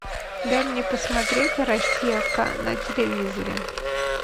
дай мне посмотреть россия к на телевизоре